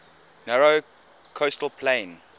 narrow coastal plain